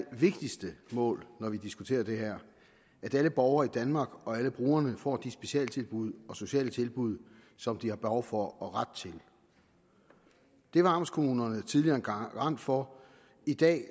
vigtigste mål når vi diskuterer det her at alle borgere i danmark og alle brugerne får de specialtilbud og sociale tilbud som de har behov for og ret til det var amtskommunerne tidligere en garant for i dag